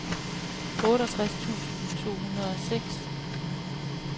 otteogtres tusind to hundrede og seks